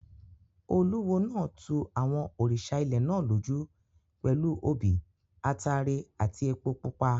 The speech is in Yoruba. Olúwo náà tu àwọn òrìṣà ilẹ̀ náà lójú pẹ̀lú obì, ataare àti epo pupa.